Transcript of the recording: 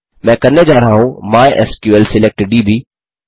मैं करने जा रहा हूँ माइस्क्ल सिलेक्ट दब्